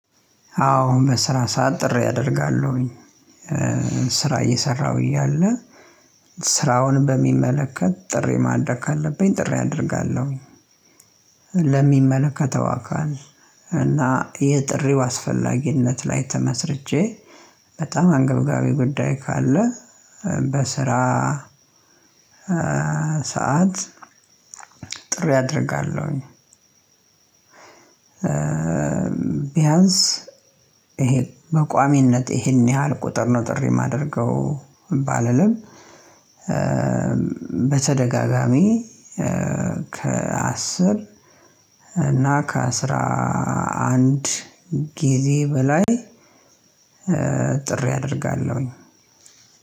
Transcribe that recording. አዎ በስራ ሳዓት ጥሪ አደርጋለሁኝ። ስራ እየሰራሁ እያለ ስራውን በሚመለከት ጥሪ ማድረግ ካለብኝ ጥሪ አደርጋለሁኝ። ለሚመለከተው አካል እና የጥሪው አስፈላጊነት ላይ ተመስርቼ በጣም አንገብጋቢ ጉዳይ ካለ በስራ ሰዓት አደርጋለሁኝ። ቢያንስ በቋሚነት ይሄን ያህል ቁጥር ነው ጥሪ የማደርገው ባለልም። በተደጋጋሚ ከአስር እና ከአስራ አንድ ጊዜ በላይ ጥሪ አደርጋለሁኝ።